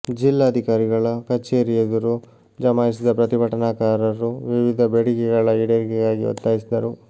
ಜಿಲ್ಲಾಧಿಕಾರಿಗಳ ಕಛೇರಿ ಎದುರು ಜಮಾಯಿಸಿದ ಪ್ರತಿಭಟನಾಕಾರರು ವಿವಿಧ ಬೇಡಿಕೆಗಳ ಈಡೇರಿಕೆಗಾಗಿ ಒತ್ತಾಯಿಸಿದರು